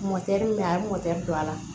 min bɛ yen a ye motɛri don a la